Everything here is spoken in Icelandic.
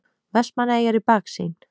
Vestmannaeyjar í baksýn.